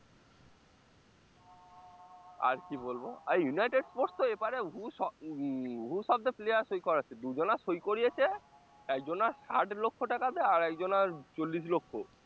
আর কি বলবো আর ইউনাইটেড স্পোর্টস তো এপারে উম হু শব্দে player সই করাচ্ছে, দুজনা সই করিয়েছে একজনার ষাট লক্ষ টাকা দিয়ে আর একজনার চল্লিশ লক্ষ